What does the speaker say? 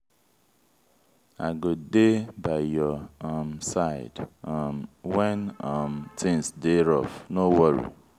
i go dey by your um side um wen um tins dey rough no worry.